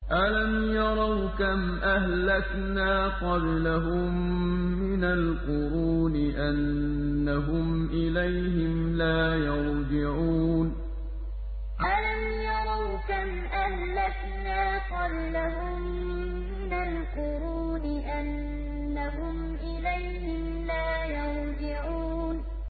أَلَمْ يَرَوْا كَمْ أَهْلَكْنَا قَبْلَهُم مِّنَ الْقُرُونِ أَنَّهُمْ إِلَيْهِمْ لَا يَرْجِعُونَ أَلَمْ يَرَوْا كَمْ أَهْلَكْنَا قَبْلَهُم مِّنَ الْقُرُونِ أَنَّهُمْ إِلَيْهِمْ لَا يَرْجِعُونَ